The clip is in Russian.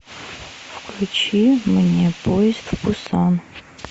включи мне поезд в пусан